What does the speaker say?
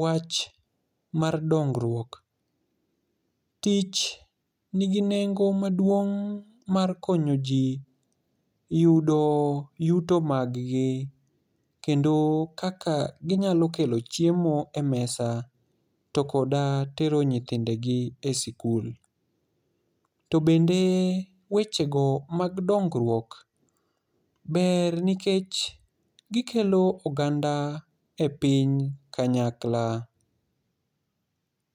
wach mar dongruok. Tich nigi nengo maduong' mar konyo ji yud yuto mag g kendo kaka ginyalokelo chiemo e mesa to koda tero nyithindegi e sikul. To bende wechego mag dongruok ber nikech gikelo oganda e piny kanyakla.